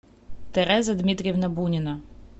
тереза дмитриевна бунина